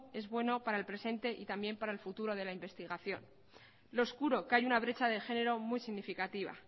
es bueno para el presente y también para el futuro de la investigación lo oscuro que hay una brecha de género muy significativa